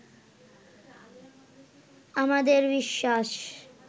আমাদের বিশ্বাস